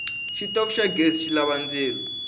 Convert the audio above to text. xitofu xa ghezi xilava ndzilo